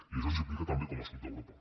i això ens implica també com a sud d’europa